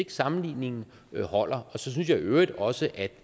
at sammenligningen holder og så synes jeg i øvrigt også